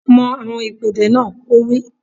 Mọ àwọn ìpèdè náà! Ó wí